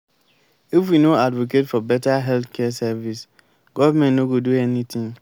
if we no advocate for beta healthcare service government no go do anything.